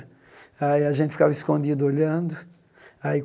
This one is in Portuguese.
Aí gente ficava escondido olhando. Aí